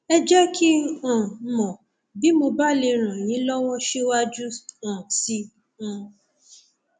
ẹ jẹ kí um n mọ bí mo bá lè ràn yín lọwọ síwájú um sí i um